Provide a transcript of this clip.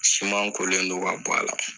Siman kolen don ka b' a la